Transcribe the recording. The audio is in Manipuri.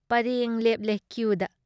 ꯄꯔꯦꯡ ꯂꯦꯞꯂꯦ ꯀ꯭ꯌꯨꯗ ꯫